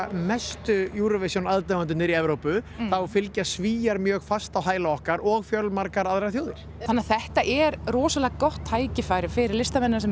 mestu Eurovision aðdáendurnir í Evrópu þá fylgja Svíar mjög fast á hæla okkar og fjölmargar aðrar þjóðir þannig að þetta er rosalega gott tækifæri fyrir listamennina sem